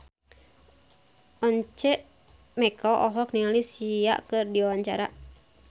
Once Mekel olohok ningali Sia keur diwawancara